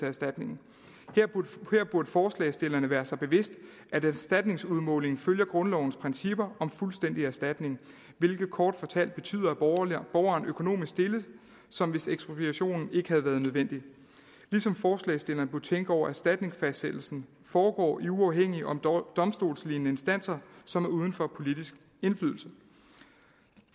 erstatning her burde forslagsstillerne være sig bevidst at erstatningsudmålingen følger grundlovens principper om fuldstændig erstatning hvilket kort fortalt betyder at borgeren er økonomisk stillet som hvis ekspropriationen ikke havde været nødvendig ligesom forslagsstillerne burde tænke over at erstatningsfastsættelsen foregår i uafhængige og domstolslignende instanser som er uden for politisk indflydelse